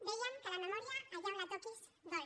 dèiem que la memòria allà on la toquis dol